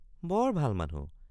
বৰ ভাল মানুহ।